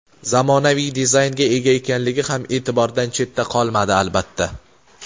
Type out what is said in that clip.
zamonaviy dizaynga ega ekanligi ham e’tibordan chetda qolmadi, albatta.